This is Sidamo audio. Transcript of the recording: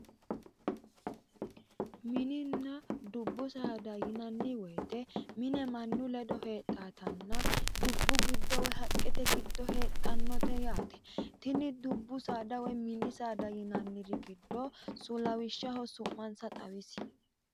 mininna dubbu saada yinanni woyiite mine mannu ledo heedhawootanna dubbu giddo woy haqqete giddo heedhannote yaate tini dubbu saada woy mini saada yinanniri giddo lawishshaho su'mansa xawisi.